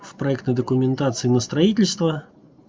в проектной документации на строительство